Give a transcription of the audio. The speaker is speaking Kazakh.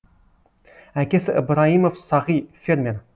әкесі ыбрайымов сағи фермер